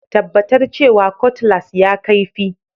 Tabbatar cewa Cutlass ya kaifi